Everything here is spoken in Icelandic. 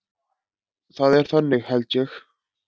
Það er þannig held ég.